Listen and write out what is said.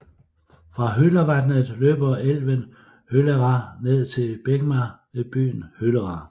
Fra Hølervatnet løber elven Hølera ned til Begna ved byen Hølera